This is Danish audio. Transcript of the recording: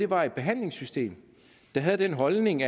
var et behandlingssystem der havde den holdning